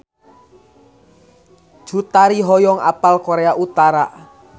Cut Tari hoyong apal Korea Utara